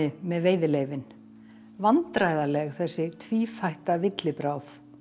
með veiðileyfin vandræðaleg þessi villibráð